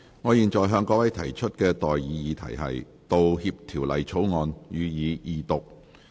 我現在向各位提出的待議議題是：《道歉條例草案》，予以二讀。